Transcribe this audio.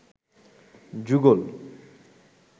যুগল